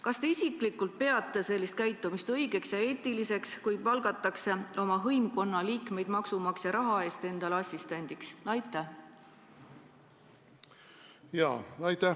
Kas te isiklikult peate sellist teguviisi õigeks ja eetiliseks, kui palgatakse oma hõimkonna liikmeid maksumaksja raha eest endale assistendiks?